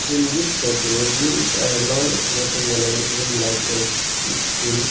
in this photo there is a long rectangular room like a school.